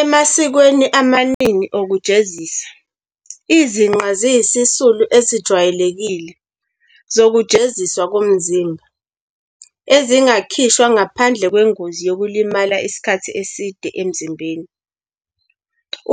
Emasikweni amaningi okujezisa, izinqe ziyizisulu ezijwayelekile zokujeziswa ngomzimba, ezingakhishwa ngaphandle kwengozi yokulimala isikhathi eside emzimbeni